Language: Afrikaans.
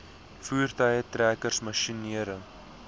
voertuie trekkers masjinerie